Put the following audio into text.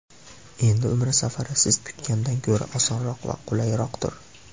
Endi Umra safari siz kutgandan ko‘ra osonroq va qulayroqdir.